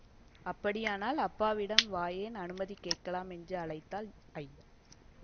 அப்படியானால் அப்பாவிடம் வாயேன் அநுமதி கேட்கலாம் என்று அழைத்தாள் ஜ